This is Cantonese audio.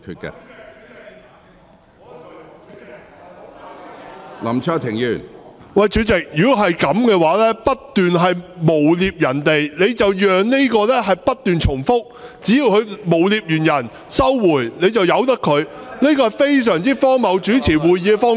主席，如果是這樣，不斷誣衊別人，你便讓這個情況不斷重複；只要他誣衊完別人，然後收回，你便由得他。這是非常荒謬的主持會議方式。